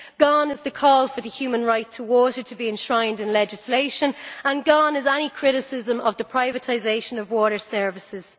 Gone is the call for the human right to water to be enshrined in legislation, and gone is any criticism of the privatisation of water services.